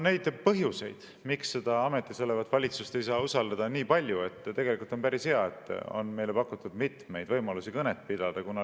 Põhjuseid, miks ametis olevat valitsust ei saa usaldada, on nii palju, et tegelikult on päris hea, et meile on pakutud mitmeid võimalusi kõnet pidada.